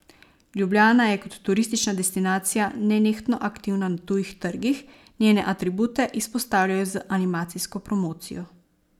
Ljubljana je kot turistična destinacija nenehno aktivna na tujih trgih, njene atribute izpostavljajo z animacijsko promocijo.